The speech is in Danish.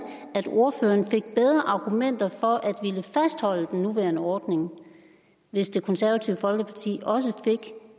at ordføreren fik bedre argumenter for at ville fastholde den nuværende ordning hvis det konservative folkeparti også fik